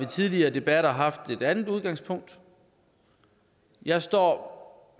tidligere debatter har haft et andet udgangspunkt jeg står